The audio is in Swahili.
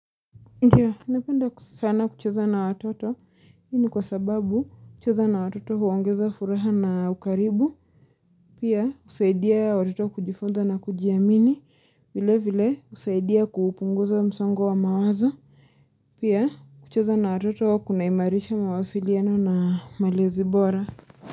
Ndiyo, napenda sana kucheza na watoto, hii ni kwa sababu kucheza na watoto huongeza furaha na ukaribu Pia husaidia watoto kujifunza na kujiamini, vile vile husaidia kupunguza msongo wa mawazo Pia kucheza na watoto kunaimarisha mawasiliano na malezi bora.